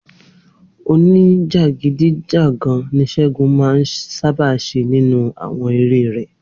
Oníjàgídíjàgan ní Sé̩gun máa ń sábà jé̩ nínú àwo̩n eré rè̩